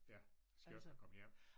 Ja skønt at komme hjem